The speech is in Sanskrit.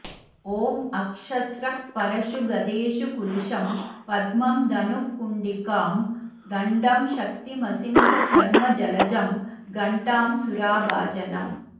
ॐ अक्षस्रक्परशू गदेषुकुलिशं पद्मं धनुः कुण्डिकां दण्डं शक्तिमसिं च चर्म जलजं घण्टां सुराभाजनम्